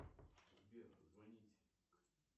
сбер звонить